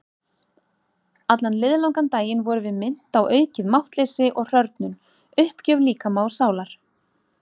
Allan liðlangan daginn vorum við minnt á aukið máttleysi og hrörnun- uppgjöf líkama og sálar.